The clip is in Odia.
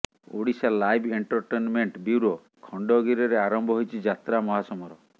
ଓଡ଼ିଶାଲାଇଭ୍ ଏଣ୍ଟରଟେନମେଣ୍ଟ ବ୍ୟୁରୋ ଖଣ୍ଡଗିରିରେ ଆରମ୍ଭ ହୋଇଛି ଯାତ୍ରା ମହାସମର